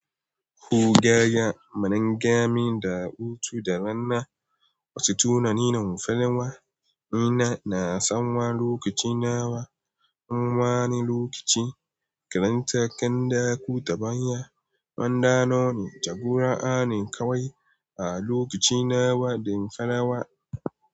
Ko daya, manengami da hutu da rana wasu tunanin manufanawa. Ina na san lokaci nawa. Nawa ne lokacin karanta kanɗako ta baya? Mandanoni ta Kur'ani kawai a lokaci nawa din farawa.